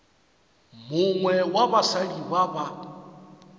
mongwe wa basadi ba ba